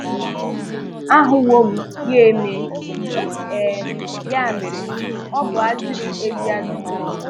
Ahụwò m ya emè, um ya mere, ọ bụ à zìrì èzí ajụjụ.